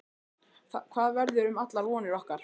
Hvað verður um allar vonir okkar?